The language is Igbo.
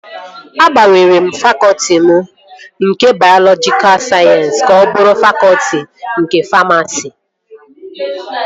Agbanwere m fakọtị m nke bayọlọjika sayensịs ka ọ bụrụ fakọtị nke famasi